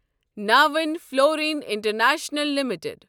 ناوٕنۍ فلوریٖن international limited